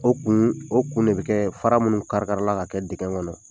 O kuun o kun de be kɛɛ fara minnu karikarila ka kɛ dikɛ ŋɔnɔ